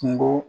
Kungo